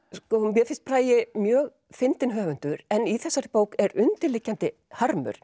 mér finnst Bragi mjög fyndinn höfundur en í þessari bók er undirliggjandi harmur